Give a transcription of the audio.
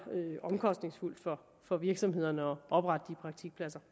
omkostningsfuldt for for virksomhederne at oprette de praktikpladser